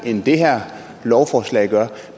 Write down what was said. end det her lovforslag gør